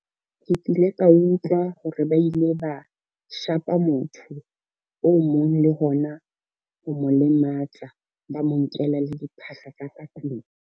Ke kile ka utlwa hore ba ile ba shapa motho o mong, le hona ho mo lematsa, ba mo nkela le diphahlo tsa ka tlung.